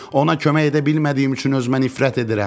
Ona kömək edə bilmədiyim üçün özümə nifrət edirəm.